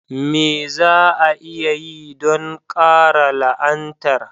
Me za a iya yi don karya la'anar?